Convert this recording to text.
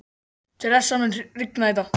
Theresa, mun rigna í dag?